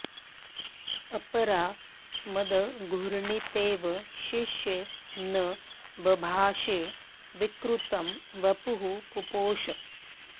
अपरा मदघूर्णितेव शिश्ये न बभाषे विकृतं वपुः पुपोष